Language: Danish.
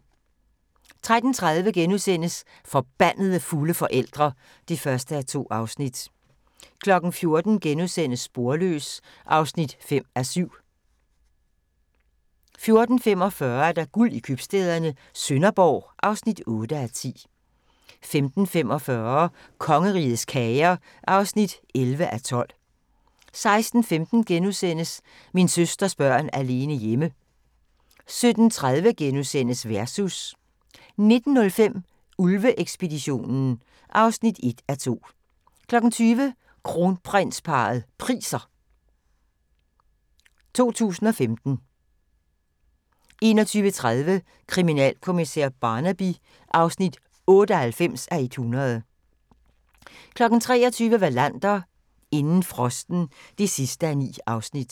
13:30: Forbandede fulde forældre (1:2)* 14:00: Sporløs (5:7)* 14:45: Guld i købstæderne - Sønderborg (8:10) 15:45: Kongerigets kager (11:12) 16:15: Min søsters børn alene hjemme * 17:30: Versus * 19:05: Ulve-ekspeditionen (1:2) 20:00: Kronprinsparrets Priser 2015 21:30: Kriminalkommissær Barnaby (98:100) 23:00: Wallander: Inden frosten (9:9)